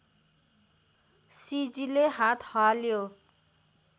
सिजीले हात हाल्यो